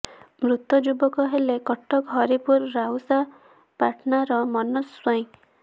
ମୃତ ଯୁବକ ହେଲେ କଟକ ହରିପୁର ରାଉସା ପାଟଣାର ମନୋଜ ସ୍ୱାଇଁ